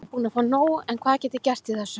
Ég er búinn að fá nóg en hvað get ég gert í þessu?